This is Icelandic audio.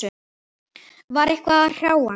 Var eitthvað að hrjá hann?